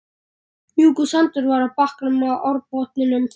Mjúkur sandur var á bakkanum og árbotninum.